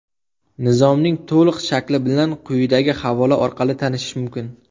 Nizomning to‘liq shakli bilan quyidagi havola orqali tanishish mumkin.